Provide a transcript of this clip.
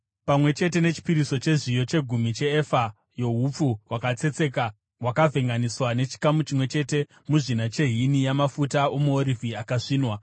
pamwe chete nechipiriso chezviyo, chegumi cheefa youpfu hwakatsetseka hwakavhenganiswa nechikamu chimwe chete muzvina chehini yamafuta omuorivhi akasvinwa.